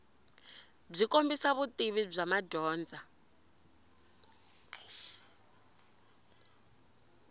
byi kombisa vutivi bya madyondza